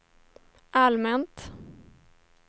allmänt